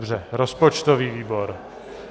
Dobře, rozpočtový výbor.